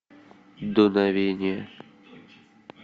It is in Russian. дуновение